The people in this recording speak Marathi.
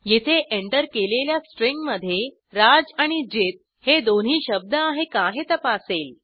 येथे एंटर केलेल्या स्ट्रिंगमधे राज आणि जित हे दोन्ही शब्द आहेत का हे तपासेल